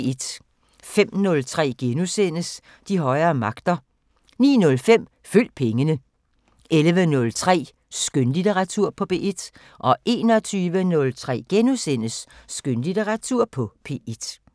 05:03: De højere magter * 09:05: Følg pengene 11:03: Skønlitteratur på P1 21:03: Skønlitteratur på P1 *